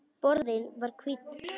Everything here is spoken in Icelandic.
Borðinn var hvítur.